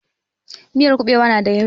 Miyar kuɓewa ya na yauƙi